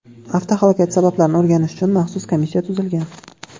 Avtohalokat sabablarini o‘rganish uchun maxsus komissiya tuzilgan .